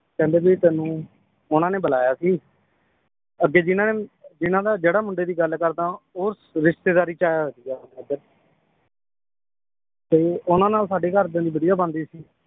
ਕਹਿੰਦੇ ਜੀ ਤੈਨੂੰ ਉਹਨਾਂ ਨੇ ਬੁਲਾਇਆ ਸੀ ਅੱਗੇ ਜਿਨਾਂ ਨੇ ਜਿੰਨਾਂ ਦਾ ਜਿਹੜਾ ਮੁੰਡੇ ਦੀ ਗੱਲ ਕਰਦਾਂ ਉਹ ਰਿਸ਼ਤੇਦਾਰੀ ਚ ਆਇਆ ਹੋਇਆ ਸੀਗਾ ਏਧਰ ਤੇ ਉਹਨਾਂ ਨਾਲ ਸਾਡੇ ਘਰਦਿਆਂ ਦੀ ਵਧੀਆ ਬਣਦੀ ਸੀ